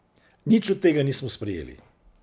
Nič od tega nismo sprejeli.